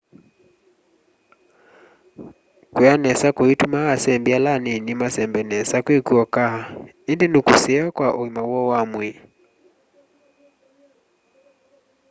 kula nesa kuitumaa asembi ala anini masembe nesa kwi kwoka indi ni kuseo kwa uima woo wa mwii